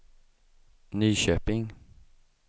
Nyköping